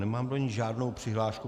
Nemám do ní žádnou přihlášku.